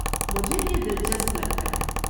مجھے یہ دلچسپ لگتا ہے۔